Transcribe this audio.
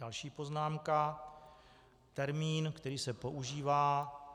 Další poznámka - termín, který se používá.